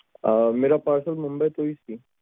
ਆਹ ਮੇਰਾ parcelmumbai ਤੋਂ ਸੀ